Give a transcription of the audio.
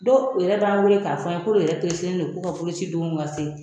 Dɔw yɛrɛ b'an wele k'a fɔ an ye k'olu yɛrɛ don k'u ka boloci don ka se